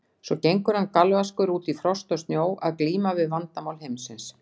Svo gengur hann galvaskur út í frost og snjó að glíma við Vandamál Heimsins.